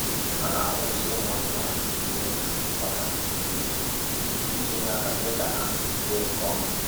A na-awụ nsị ụmụ anụmanụ n'ubi ọka kwa izu iji nye aka mee ka ha too nke ọma